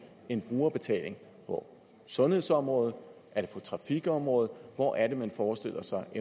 en brugerbetaling på sundhedsområdet er det på trafikområdet hvor er det man forestiller sig at